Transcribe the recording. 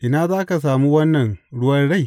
Ina za ka sami wannan ruwan rai?